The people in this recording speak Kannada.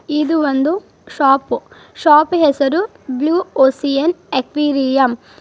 ಇದು ಒಂದು ಶಾಪ್ ಶಾಪ್ ಹೆಸರು ಬ್ಲೂ ಓಶನ್ ಅಕ್ವೇರಿಯಂ .